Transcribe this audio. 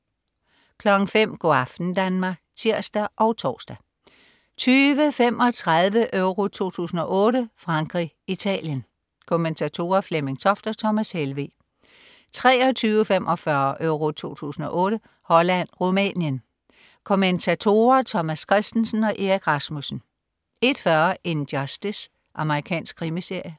05.00 Go' aften Danmark (tirs og tors) 20.35 EURO 2008: Frankrig-Italien. Kommentatorer: Flemming Toft og Thomas Helveg 23.45 EURO 2008: Holland-Rumænien. Kommentatorer: Thomas Kristensen og Erik Rasmussen 01.40 In Justice. Amerikansk krimiserie